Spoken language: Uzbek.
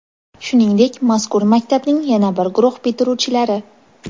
Shuningdek, mazkur maktabning yana bir guruh bitiruvchilari:.